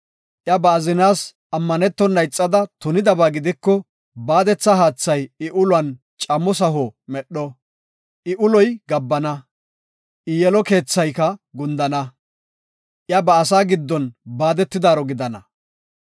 Iya ba azinaas ammanetona ixada tunidaba gidiko baadetha haathay I uluwan camo saho medho. I uloy gabbana; I yelo keethayka gundana; iya ba asaa giddon baadetidaaro gidana.